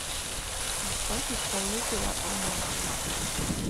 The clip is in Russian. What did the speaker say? поставь исполнителя амахла